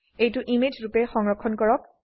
এইটো ইমেজ ৰুপে সংৰক্ষণ কৰক